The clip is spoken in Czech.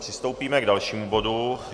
Přistoupíme k dalšímu bodu.